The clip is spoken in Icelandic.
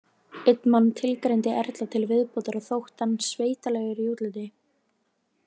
Einn mann tilgreindi Erla til viðbótar og þótt hann „sveitalegur“ í útliti.